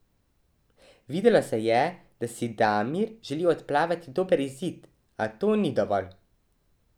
Videlo se je, da si Damir želi odplavati dober izid, a to ni dovolj.